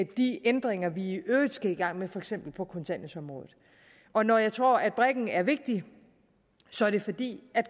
de ændringer vi i øvrigt skal i gang med for eksempel på kontanthjælpsområdet og når jeg tror at brikken er vigtig er det fordi